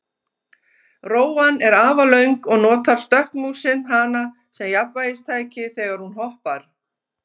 Rófan er afar löng og notar stökkmúsin hana sem jafnvægistæki þegar hún hoppar.